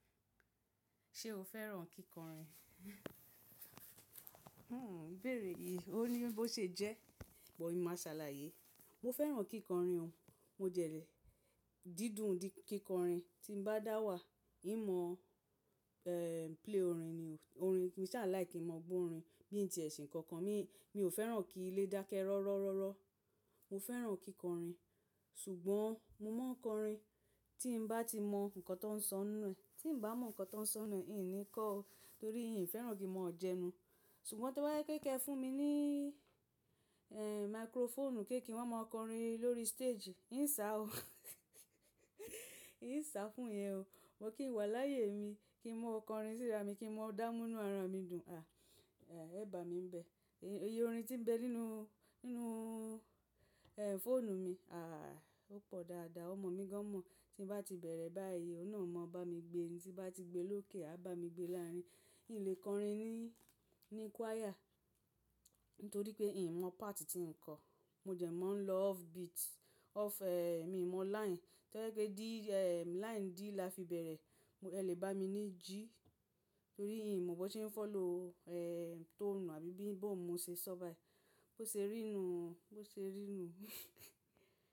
Ṣé o fẹ́ràn kíkọrin? Hmmm, bèèrè yìí, ó ní bí ó ṣe jẹ́, but mọ̀ máa ṣàlàyé. Mo fẹ́ràn kíkọrin o, mo jẹ̀ lé, dídùn di kíkọrin tí ń bá dá wà, ìmọ̀, eeh, play orin ni o, orin, mo sa láìkí n mọ̀ gbó orin, bí n ti ẹ ṣe kankan, mi, mi ò fẹ́ràn kí ilé dákẹ́ rọ́rọ́rọ́rọ́. Mo fẹ́ràn kíkọrin, ṣùgbọ́n mo máa ń kọrin tí mo bá ti mọ nǹkan tó ń sọ nínú ẹ̀, tí mo bá mọ nǹkan tó ń sọ nínú ẹ̀, n ò ní kọ́ o, torí n ò fẹ́ràn kí mo jẹnu. Ṣùgbọ́n to bá jè pé ke fún mi ní, eeh, microphone pèé kí n wa máa mọ kọrin lórí stage, n sá o. N sá fún yẹn o. But kì n wà láyé mi, kí n mọ kọrin síra mi, kí n mọ dá mú inú ara mi dùn, àh, eeh, e bá mi ń bẹ. Eyi orin tí ń bẹ nínú, nínú, eeh, fóònù mi, àh, ó pọ̀ dáadáa. Ọmọ mi gan mọ̀, tí ń bá ti bẹ̀rẹ̀ báyìí, ó náà maa bá mi gbé e ni, tí n bá ti gbe lókè, a bá mi gbé láàrin. N lè kọrin ní, ní choir, nítorí pé n ò mọ part tí ń kọ̀. Mo jẹ̀ máa ń lọ off beat, off, eeh, mi ò mọ line. To bá jé pe dí, eeh, line D la fi bẹ̀rẹ̀, ẹ lè bá mi ní G, torí n mọ bi won se ń fọ̀lò, eeh, tone àbí bí, bó ń mo ṣe ṣọ́ bàì, bó ṣe rí nuù, bó ṣe rí nuù.